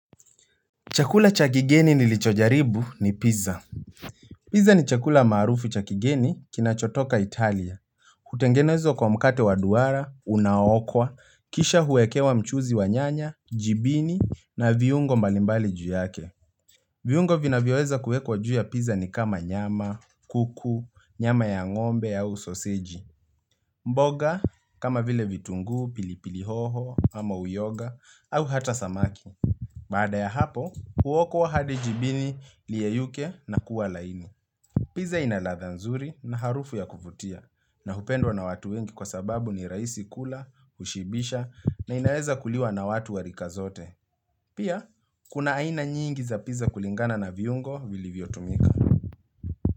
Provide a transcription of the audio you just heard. Chakula cha kigeni nilichojaribu ni pizza. Pizza ni chakula maarufu cha kigeni kinachotoka Italia. Hutengenezwa kwa mkate wa duara, unao okwa, kisha huwekewa mchuzi wa nyanya, jibini na viungo mbali mbali juu yake. Viungo vina vyoweza kuwekwa juu ya pizza ni kama nyama, kuku, nyama ya ngombe au sosiji. Mboga kama vile vitunguu, pilipili hoho ama uyoga au hata samaki. Baada ya hapo, huokwa wa hadi jibini liyeyuke na kuwa laini. Piza ina ladha nzuri na harufu ya kuvutia na hupendwa na watu wengi kwa sababu ni rahisi kula, hushibisha na inaeza kuliwa na watu wa rika zote. Pia, kuna aina nyingi za pizza kulingana na viungo vili vyotumika.